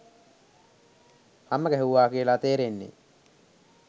හම ගැහුවා කියලා තේරෙන්නේ